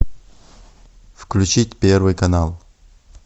включить первый канал